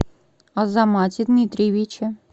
азамате дмитриевиче